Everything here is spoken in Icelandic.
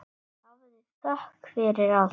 Hafðu þökk fyrir allt.